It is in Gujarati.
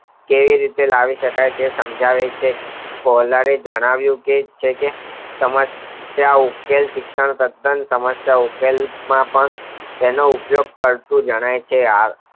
કેવી રીતે લાવીશકાય તે સમજાવી શકાય છે કોયલાએ જણાવ્યુ કે સમસ્ત તેનો ઉપયોગ કરતુ જણાય છે